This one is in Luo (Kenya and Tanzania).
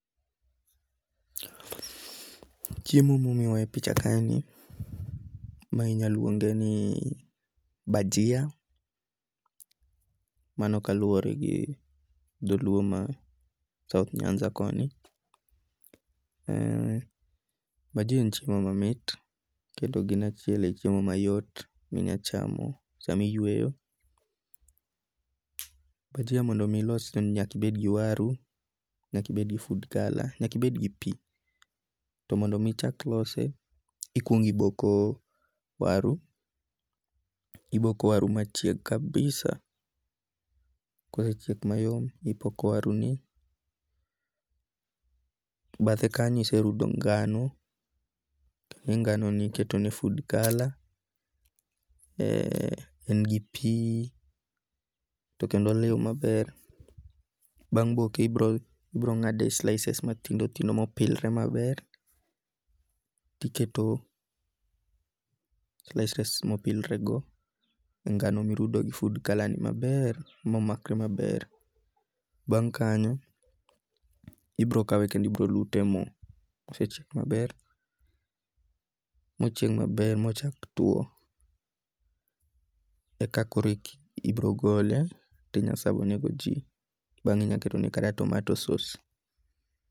Chiemo mimiyowa e picha kaeni mae inyalo luonge' ni bajia mano kaluore gi dholuo manie e south nyanza koni, bajia en chiemo mamiti kendo ginie achiel e chiemo mayot minyachamo sama iyweyo, bajia mondo omi ilose nyaka ibed gi waru , nyaka ibed food color nyaki bed gi pi, to mondo mi ichak ilose ikuongo' oboko waru, oboko waru machiek kabisa kosechiek mayom tipoko waruni bathe kanyo iserudo ngano, ikawonganoni iketone food color ee en gi pi to kendo liu maber, bang' boke ibiro nga'de slices mathindo thindo mopilre maber, tiketo slices mopilrego e ngano mirudo gi food color maber, bang' kanyo ibro kawe kendo ibro lutemo kasechiel maber mochig maber mochak tuwo eka koro ibrogole tinya savonego ji bange inya ketone kata tomato sauce .